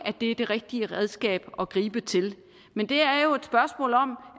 det er det rigtige redskab at gribe til men det er jo et spørgsmål om